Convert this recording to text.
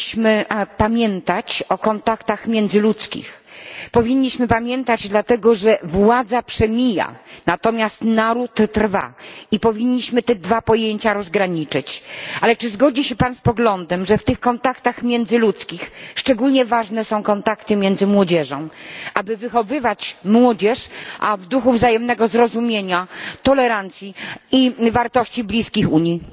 Panie Pośle! Zgadzam się z panem, że powinniśmy pamiętać o kontaktach międzyludzkich. Powinniśmy pamiętać, dlatego że władza przemija, natomiast naród trwa. Powinniśmy te dwa pojęcia rozgraniczyć. Ale czy zgodzi się pan z poglądem, że w tych kontaktach międzyludzkich szczególnie ważne są kontakty między młodzieżą, aby wychowywać młodzież w duchu wzajemnego zrozumienia, tolerancji i wartości bliskich Unii?